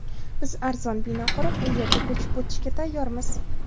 Biz arzon bino qurib, u yerga ko‘chib o‘tishga tayyormiz.